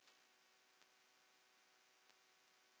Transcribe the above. Segðu mér, hvað gerðist hérna?